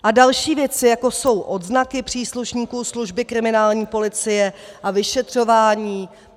A další věci, jako jsou odznaky příslušníků služby kriminální policie a vyšetřování.